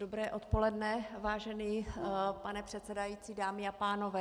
Dobré odpoledne, vážený pane předsedající, dámy a pánové.